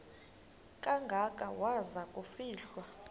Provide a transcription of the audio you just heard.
kangaka waza kufihlwa